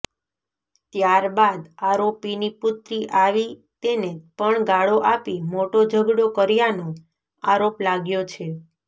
ત્યાર બાદ આરોપીની પુત્રી આવી તેને પણ ગાળો આપી મોટો ઝગડો કર્યાનો આરોપ લાગ્યો છે